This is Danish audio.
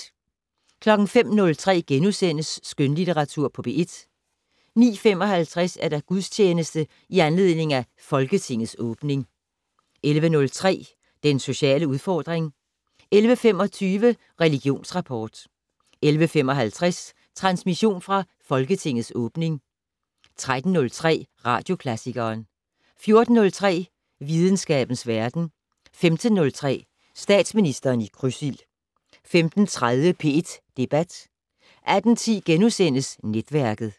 05:03: Skønlitteratur på P1 * 09:55: Gudstjeneste i anledning af Folketingets åbning 11:03: Den sociale udfordring 11:25: Religionsrapport 11:55: Transmission fra Folketingets åbning 13:03: Radioklassikeren 14:03: Videnskabens Verden 15:03: Statsministeren i krydsild 15:30: P1 Debat 18:10: Netværket *